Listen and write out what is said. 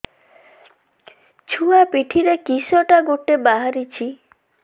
ଛୁଆ ପିଠିରେ କିଶଟା ଗୋଟେ ବାହାରିଛି